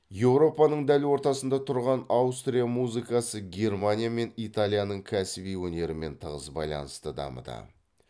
еуропаның дәл ортасында тұрған аустрия музыкасы германия мен италияның кәсіби өнерімен тығыз байланысты дамыды